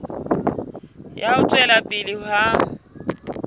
ya ho tswela pele ha